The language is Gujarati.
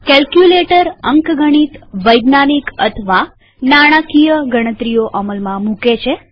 કેલ્કયુલેટર અંકગણિતવૈજ્ઞાનિક અથવા નાણાંકીય ગણતરીઓ અમલમાં મુકે છે